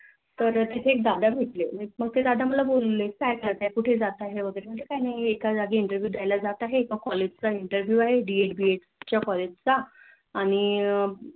तर तिथे एक दादा भेटले. मोठे दाद मला बोलले काय करतेय कुठे जातंय वैगेरे. मी सांगितलं एका जागी Interview द्यायला जात आहे एका College चा Interview आहे Ded B Ed च्या College चा आणि